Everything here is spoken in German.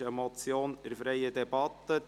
Wir führen eine freie Debatte.